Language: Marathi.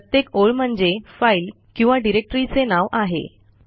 प्रत्येक ओळ म्हणजे फाईल किंवा डिरेक्टरीचे नाव आहे